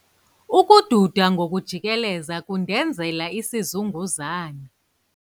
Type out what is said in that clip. Ukududa ngokujikeleza kundenzela isizunguzane.